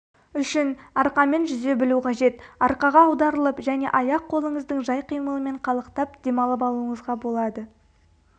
үшін арқамен жүзе білу қажет арқаға аударылып және аяқ-қолыңыздың жай қимылымен қалықтап демалып алуыңызға болады